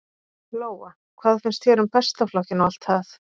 Lóa: Hvað finnst þér um Besta flokkinn og það allt?